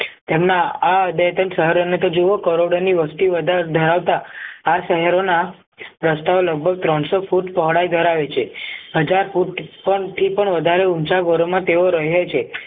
તેમના આ બે ત્રણ સહારા ને તો જુઓ કરોડની વસ્તી વધારો ધરાવતા આ શહેરોના રસ્તા ઓ લગભગ ત્રણસો ફૂટ પહોળાઈ ધરાવે છે હજાર ફૂટ પણ એ પણ વધારે ઊંચા ગોરોમાં તેઓ રહે છે